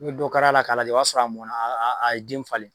N'o dɛ kɛra a la ka ɲɛ o b'a sɔrɔ a mɔna a ye den falen